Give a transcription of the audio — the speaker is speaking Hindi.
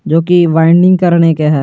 जोकि वाइंडिंग करने का है।